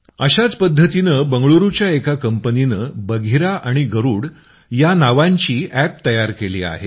अशाच पद्धतीनं बंगलुरूच्या एका कंपनीनं बघिरा आणि गरूड या नावांची अॅप तयार केली आहेत